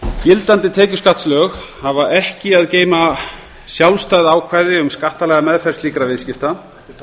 gildandi tekjuskattslög hafa ekki að geyma sjálfstæð ákvæði um skattalega meðferð slíkra viðskipta